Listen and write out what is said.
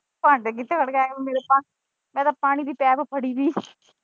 ਭਾਂਡੇ ਵੀ ਧੋਣੇ ਆਲੇ ਹੈ ਮੇਰੇ ਤਾਂ ਮੈਂ ਤਾਂ ਪਾਣੀ ਦੀ ਪਾਇਪ ਫੜੀ ਦੀ।